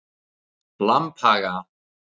Lambhaga